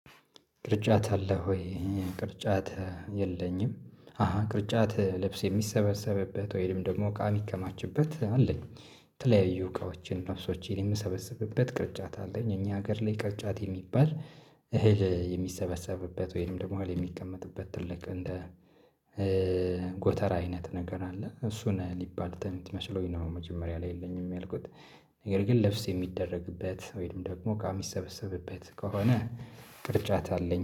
ቅርጫት አለ ወይ? ቅርጫት የለኝም አሃ ቅርጫት ልብስ የሚሰበሰብበት ወይም ደግሞ ቃሚ ከማችበት አለኝ። የተለያዩ እቃዎችን ልብሶችን የምሰበስብበት ቅርጫት አለኝ። እኛ ሀገር ላይ ቅርጫት የሚባል አህል የሚሰበሰብበት ወይም ደግሞ የሚቀመጥበት ትልቅ እንደ ጎተራ አይነት ነገር አለ እሱ ነው ሊባል ትመስሎኝ ነው። መጀመሪያ ላይ የለኝም ያልኩት። ነገር ግን ልብስ የሚደረግበት ወይም ደግሞ እቃ የሚሰበሰብበት ከሆነ ቅርጫት አለኝ